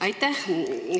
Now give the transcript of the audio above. Aitäh!